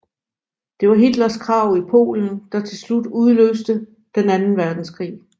Det var Hitlers krav i Polen der til slut udløste den anden verdenskrig